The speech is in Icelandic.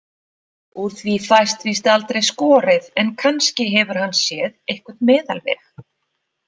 Úr því fæst víst aldrei skorið, en kannski hefur hann séð einhvern meðalveg.